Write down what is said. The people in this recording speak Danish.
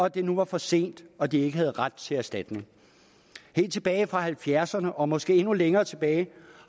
at det nu er for sent og at de ikke har ret til erstatning helt tilbage fra nitten halvfjerdserne og måske endnu længere tilbage